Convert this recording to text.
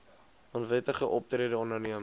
onwettige optrede onderneem